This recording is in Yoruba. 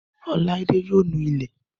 Ọláídé yóò nu ilé.